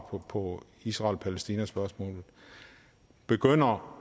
på israel palæstina spørgsmålet begynder